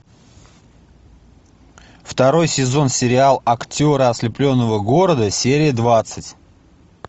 второй сезон сериал актеры ослепленного города серия двадцать